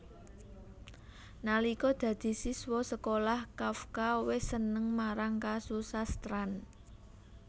Nalika dadi siswa sekolah Kafka wis seneng marang kasusastran